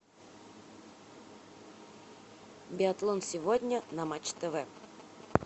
биатлон сегодня на матч тв